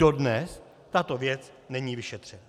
Dodnes tato věc není vyšetřena.